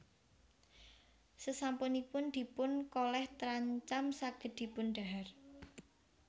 Sasampunipun dipun kolèh trancam saged dipun dhahar